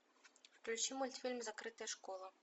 включи мультфильм закрытая школа